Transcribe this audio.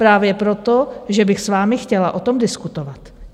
Právě proto, že bych s vámi chtěla o tom diskutovat.